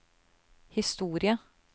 historie